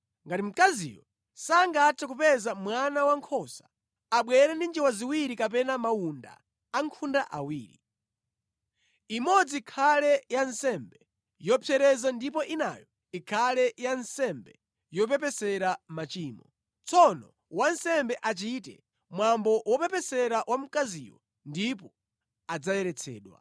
Ngati mkaziyo sangathe kupeza mwana wankhosa, abwere ndi njiwa ziwiri kapena mawunda ankhunda awiri: imodzi ikhale ya nsembe yopsereza ndipo inayo ikhale ya nsembe yopepesera machimo. Tsono wansembe achite mwambo wopepesera wa mkaziyo ndipo adzayeretsedwa.’ ”